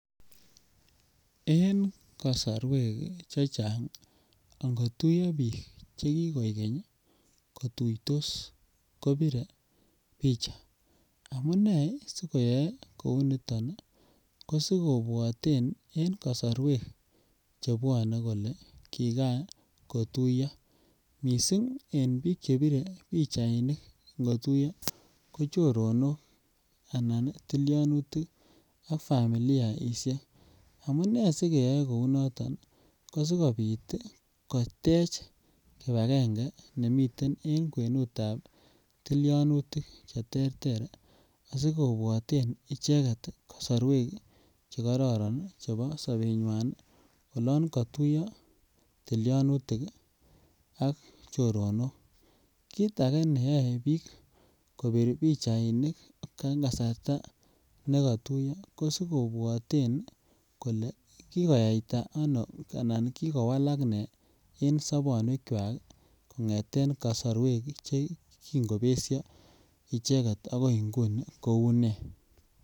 En kosorwek chechang ongotuyo biik che kigoi ngeny kituitos kobire picha maybe si koyoe kouu niton ii ko sikobwoten en kosorwek chebwone kolee kikan kotuyo missing en biik chebire pichainik ngotuyo ko choronok anan tilyonutik ak familiaishek amunee si keyoe kouu noton ko sikopit kotech kibagenge nemiten en kwenutab tilyonutik che terter asi kobwoten icheget kosorwek che kororon chebo sobenywan olon kotuyo tilyonutik ii ak choronok. Kit age neyoe biik kobir pichainik en kasarta ne kotuyo ko si kobwoten kolee kikoyayta ano anan kikowalak nee en sobonwekwak kongeten kosorwek che kingobesyo icheget agoi ngunii kouu nee